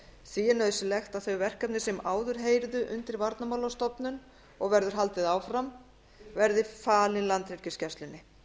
því er nauðsynlegt að þau verkefni sem áður heyrðu undir varnarmálastofnun og verður haldið áfram verði falin landhelgisgæslunni